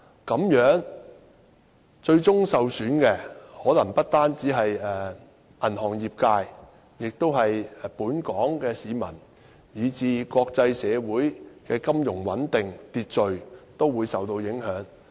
這樣最終受損的，可能不單是銀行業界，也是本港市民，而國際社會的金融穩定和秩序亦會受到影響。